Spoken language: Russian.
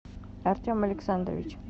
артем александрович